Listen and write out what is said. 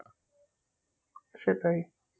সেটাই